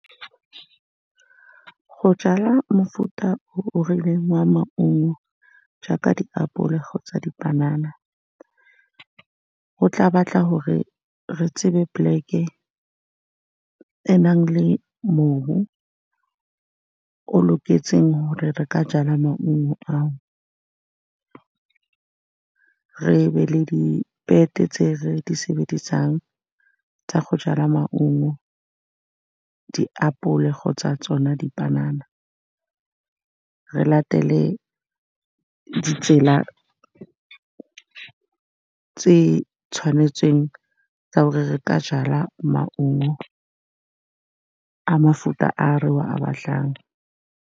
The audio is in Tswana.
Go jala mofuta o o rileng wa maungo, jaaka diapole kgotsa dipanana, go tla batla gore re tsebe poleke e e nang le mobu o o loketseng hore re ka jala maungo ao. Re be le di tse re di sebedisang tsa go jala maungo, diapole kgotsa tsona dipanana. Re latele ditsela tse di tshwanetseng tsa gore re ka jala maungo a mefuta a re o a batlang.